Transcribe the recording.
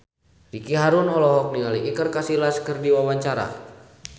Ricky Harun olohok ningali Iker Casillas keur diwawancara